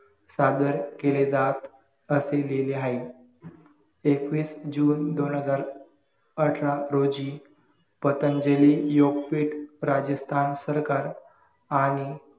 सादर केले जात असे लिहिले हाये एकवीस जून दोन हजार अठरा रोजी पतंजली योगपीठ प्राजक्ता सरकार आणि